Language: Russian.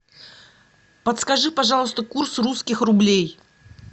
подскажи пожалуйста курс русских рублей